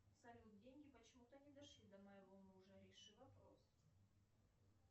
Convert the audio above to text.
салют деньги почему то не дошли до моего мужа реши вопрос